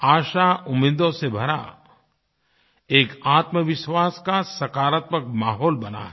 आशाउम्मीदों से भरा एक आत्मविश्वास का सकारात्मक माहौल बना है